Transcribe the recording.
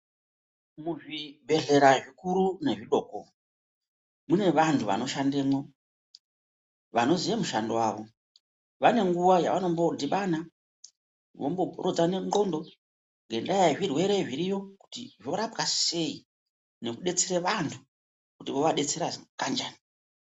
Muzvibhehlera zvikuru nezvidoko mune vantu vanoshandemwo vanoziye mushando wavo vane nguwa yavanombodhibana vomboporodzane ndxondo ngendaa yezvirwere zviriyo kuti zvorapwa sei nekudetsere vantu kuti vovadetsera kanjani.